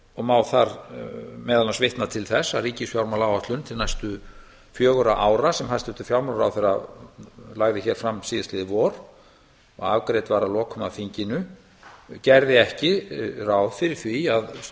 og má þar meðal annars vitna til þess að ríkisfjármálaáætlun til næstu fjögurra ára sem hæstvirtur fjármálaráðherra lagði hér fram síðast liðið vor og afgreitt var að lokum á þinginu gerði ekki ráð fyrir því að